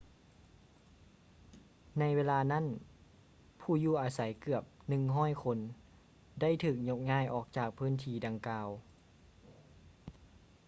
ໃນເວລານັ້ນ ຜູ້ຢູ່ອາໄສເກືອບ 100 ຄົນ ໄດ້ຖືກຍົກຍ້າຍອອກຈາກພື້ນທີ່ດັ່ງກ່າວ